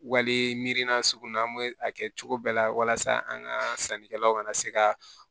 Wali mirina sugu min na an bɛ a kɛ cogo bɛɛ la walasa an ka sannikɛlaw ka na se ka